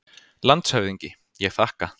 LANDSHÖFÐINGI: Ég þakka.